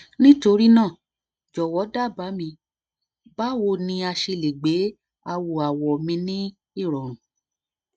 nitorina jọwọ daba mi bawo ni a ṣe le gbe awọawọ mi ni irọrun